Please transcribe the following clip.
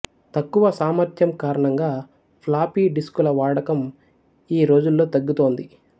తక్కువ సామర్థ్యం కారణంగా ఫ్లాపీ డిస్కుల వాడకం ఈ రోజుల్లో తగ్గుతోంది